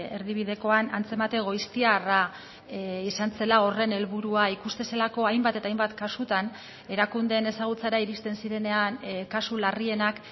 erdibidekoan antzemate goiztiarra izan zela horren helburua ikusten zelako hainbat eta hainbat kasutan erakundeen ezagutzara iristen zirenean kasu larrienak